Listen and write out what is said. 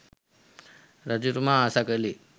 රජතුමා ආසා කළේ